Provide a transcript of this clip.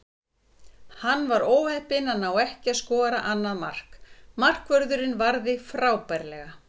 Hann var óheppinn að ná ekki að skora annað mark, markvörðurinn varði frábærlega.